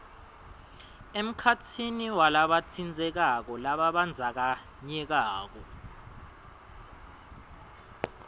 emkhatsini walabatsintsekako lababandzakanyekako